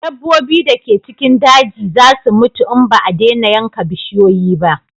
Dabbobi da ke cikin daji za su mutu in ba a dena yanka bishiyoyi ba